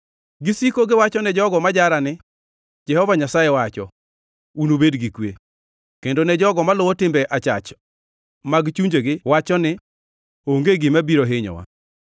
Gisiko giwachone jogo ma jara ni, ‘Jehova Nyasaye wacho: Unubed gi kwe.’ Kendo ne jogo maluwo timbe achach mag chunjegi wacho ni, ‘Onge gima biro hinyowa.’